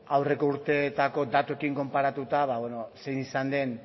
aurreko urteetako datuekin konparatuta zein izan den